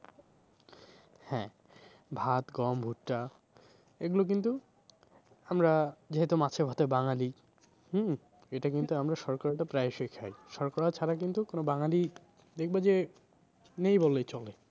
ভাত গম ভুট্টা এগুলো কিন্তু আমরা যেহেতু মাছে ভাতে বাঙালি হম এটা কিন্তু আমরা শর্করা প্রায়শই খাই। শর্করা ছাড়া কিন্তু কোনো বাঙালি দেখবে যে নেই বললেই চলে।